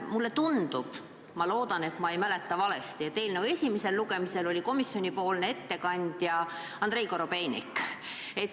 Mulle tundub – ma loodan, et ma ei mäleta valesti –, et eelnõu esimesel lugemisel oli komisjoni ettekandja Andrei Korobeinik.